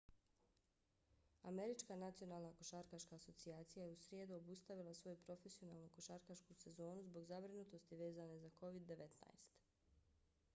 američka nacionalna košarkaška asocijacija nba je u srijedu obustavila svoju profesionalnu košarkašku sezonu zbog zabrinutosti vezane za covid-19